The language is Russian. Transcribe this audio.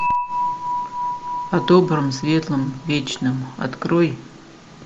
о добром светлом вечном открой